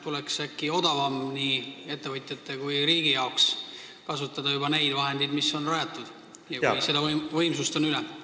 Tuleks äkki odavam nii ettevõtjate kui riigi jaoks, kui kasutada tootmisseadmeid, mis on juba rajatud ja kus võimsust üle on.